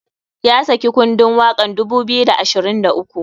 Ya saki kundun wakan 2023.